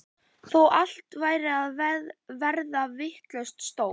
Þó allt væri að verða vitlaust stóð